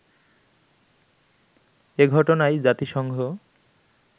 এ ঘটনায় জাতিসংঘ